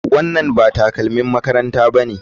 Wannan ba takalmin makaranta bane.